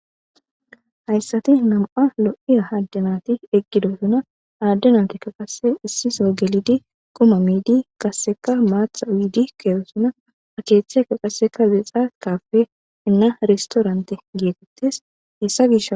hayssati nam7a lo7iya hadanati eqqidosuna aaddenantikka qase issiso gelidi kuma miidi qasseka maatha wiidi keewosuna akeeththe ka qaseka zexaakappe inna ristoorante geetettes hessa gish